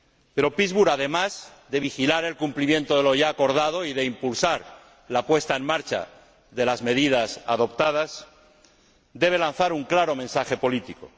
Pero Pittsburg, además de vigilar el cumplimiento de lo ya acordado y de impulsar la puesta en marcha de las medidas adoptadas, debe lanzar un claro mensaje político.